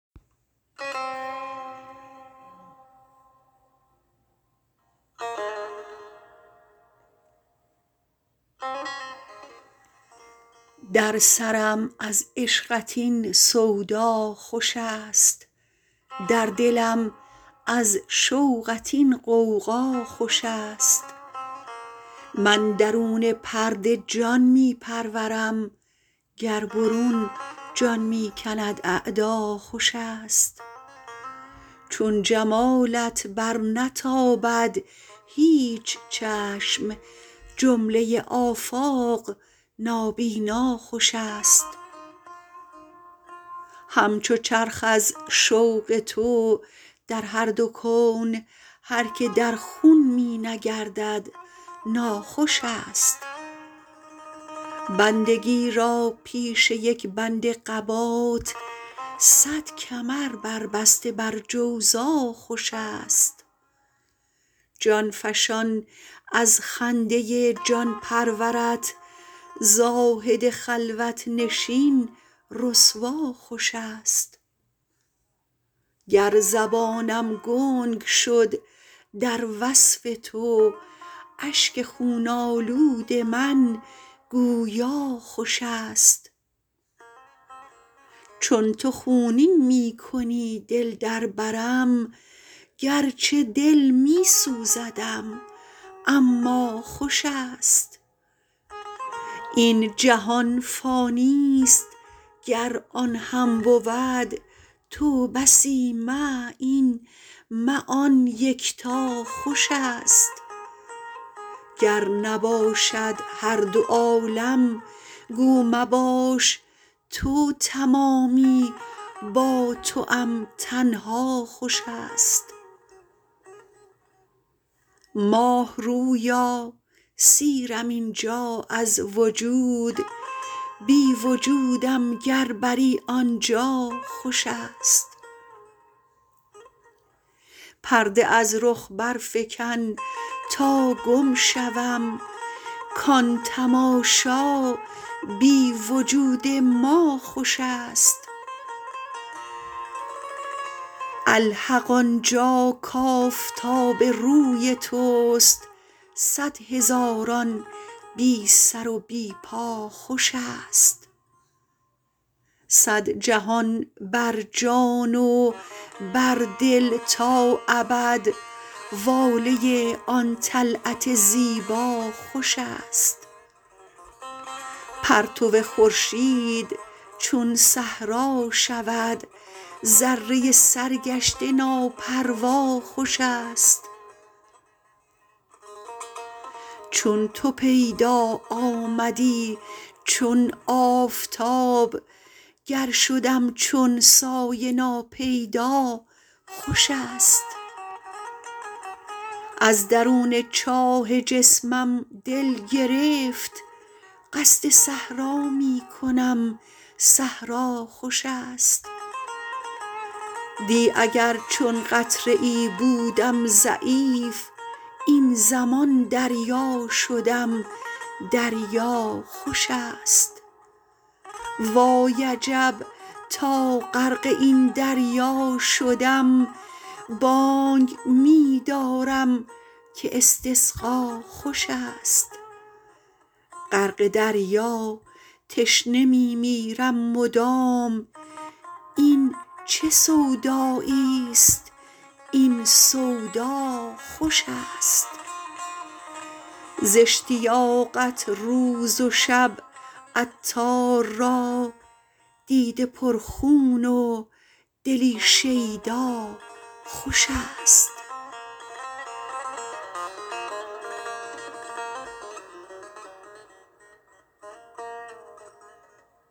در سرم از عشقت این سودا خوش است در دلم از شوقت این غوغا خوش است من درون پرده جان می پرورم گر برون جان می کند اعدا خوش است چون جمالت برنتابد هیچ چشم جمله آفاق نابینا خوش است همچو چرخ از شوق تو در هر دو کون هر که در خون می نگردد ناخوش است بندگی را پیش یک بند قبات صد کمر بر بسته بر جوزا خوش است جان فشان از خنده جان پرورت زاهد خلوت نشین رسوا خوش است گر زبانم گنگ شد در وصف تو اشک خون آلود من گویا خوش است چون تو خونین می کنی دل در برم گرچه دل می سوزدم اما خوش است این جهان فانی است گر آن هم بود تو بسی مه این مه آن یکتا خوش است گر نباشد هر دو عالم گو مباش تو تمامی با توام تنها خوش است ماه رویا سیرم اینجا از وجود بی وجودم گر بری آنجا خوش است پرده از رخ برفکن تا گم شوم کان تماشا بی وجود ما خوش است الحق آنجا کآفتاب روی توست صد هزاران بی سر و بی پا خوش است صد جهان بر جان و بر دل تا ابد واله آن طلعت زیبا خوش است پرتو خورشید چون صحرا شود ذره سرگشته ناپروا خوش است چون تو پیدا آمدی چون آفتاب گر شدم چون سایه ناپیدا خوش است از درون چاه جسمم دل گرفت قصد صحرا می کنم صحرا خوش است دی اگر چون قطره ای بودم ضعیف این زمان دریا شدم دریا خوش است وای عجب تا غرق این دریا شدم بانگ می دارم که استسقا خوش است غرق دریا تشنه می میرم مدام این چه سودایی است این سودا خوش است ز اشتیاقت روز و شب عطار را دیده پر خون و دلی شیدا خوش است